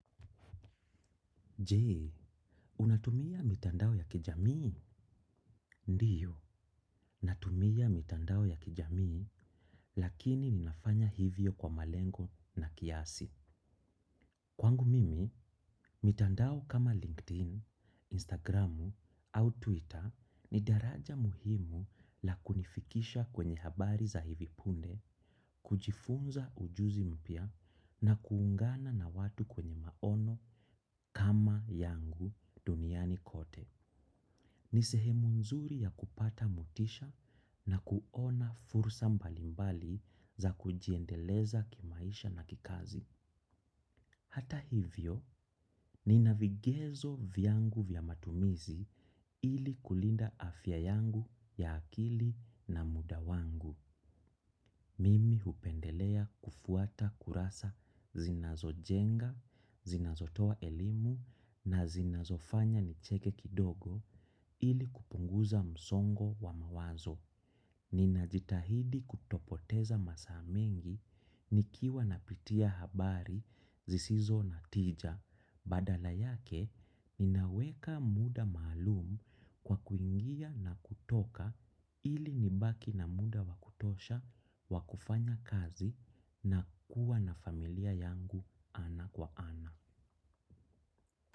Je, unatumia mitandao ya kijamii? Ndiyo, natumia mitandao ya kijamii, lakini ninafanya hivyo kwa malengo na kiasi. Kwangu mimi, mitandao kama LinkedIn, Instagramu au Twitter ni daraja muhimu la kunifikisha kwenye habari za hivipunde, kujifunza ujuzi mpya na kuungana na watu kwenye maono kama yangu duniani kote. Ni sehemu nzuri ya kupata motisha na kuona fursa mbalimbali za kujiendeleza kimaisha na kikazi. Hata hivyo, ni navigezo vyangu vyamatumizi ili kulinda afya yangu ya akili na mudawangu. Mimi hupendelea kufuata kurasa zinazo jenga, zinazotoa elimu na zinazofanya nicheke kidogo ili kupunguza msongo wa mawazo. Ninajitahidi kuto poteza masaa mingi nikiwa na pitia habari zisizo na tija badala yake ninaweka muda maalum kwa kuingia na kutoka ili nibaki na muda wakutosha wakufanya kazi na kuwa na familia yangu ana kwa ana.